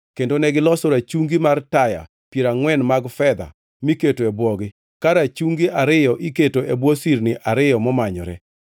kendo negiloso rachungi mar taya piero angʼwen mag fedha miketo e bwogi, ka rachungi ariyo iketo e bwo sirni ariyo momanyore.